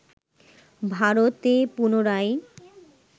ভারতে পুনরায়